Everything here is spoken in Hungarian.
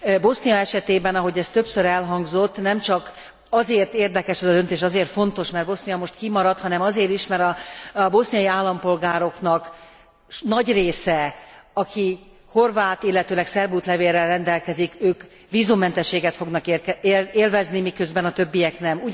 Bosznia esetében, ahogy ez többször elhangzott, nem csak azért érdekes ez a döntés, azért fontos, mert Bosznia most kimaradt, hanem azért is, mert a boszniai állampolgároknak nagy része, aki horvát, illetőleg szerb útlevéllel rendelkezik, ők vízummentességet fognak élvezni, miközben a többiek nem.